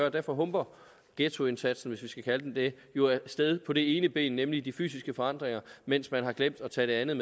og derfor humper ghettoindsatsen hvis vi kan kalde den det jo af sted på det ene ben nemlig de fysiske forandringer mens man har glemt at tage det andet